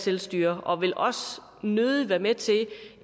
selvstyre og vil også nødig være med til